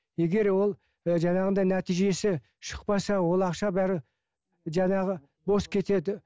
егер ол ы жаңағындай нәтижесі шықпаса ол ақша бәрі жаңағы бос кетеді